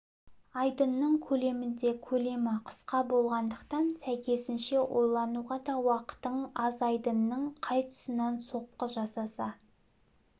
айдынының көлемінде көлемі қысқа болғандықтан сәйкесінше ойлануға да уақытың аз айдынның қай тұсынан соққы жасаса